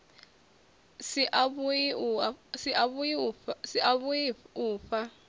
si a vhui u fhaa